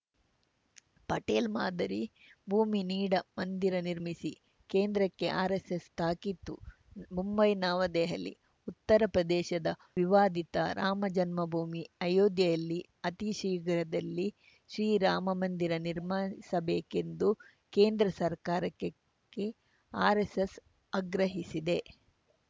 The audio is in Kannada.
ಪಟೇಲ್‌ ಮಾದರಿ ಭೂಮಿ ನೀಡ ಮಂದಿರ ನಿರ್ಮಿಸಿ ಕೇಂದ್ರಕ್ಕೆ ಆರೆಸ್ಸೆಸ್‌ ತಾಕೀತು ಮುಂಬೈನವದೆಹಲಿ ಉತ್ತರ ಪ್ರದೇಶದ ವಿವಾದಿತ ರಾಮಜನ್ಮಭೂಮಿ ಅಯೋಧ್ಯೆಯಲ್ಲಿ ಅತೀ ಶೀಘ್ರದಲ್ಲಿ ಶ್ರೀರಾಮ ಮಂದಿರ ನಿರ್ಮಸಬೇಕೆಂದು ಕೇಂದ್ರ ಸರ್ಕಾರಕ್ಕೆ ಆರ್‌ಎಸ್‌ಎಸ್‌ ಆಗ್ರಹಿಸಿದೆ